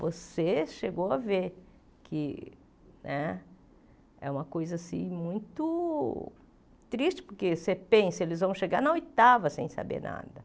Você chegou a ver que né é uma coisa muito triste, porque você pensa que eles vão chegar na oitava sem saber nada.